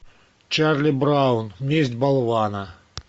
чарли браун месть болвана